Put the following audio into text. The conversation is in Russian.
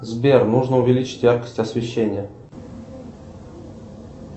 сбер нужно увеличить яркость освещения